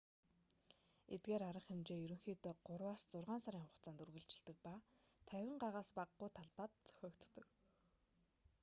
эдгээр арга хэмжээ ерөнхийдөө гурваас зургаан сарын хугацаанд үргэлжилдэг ба 50 га-с багагүй талбайд зохиогддог